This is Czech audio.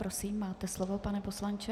Prosím, máte slovo, pane poslanče.